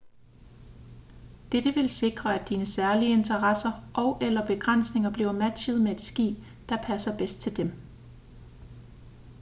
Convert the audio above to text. dette vil sikre at dine særlige interesser og/eller begrænsninger bliver matchet med det skib der passer bedst til dem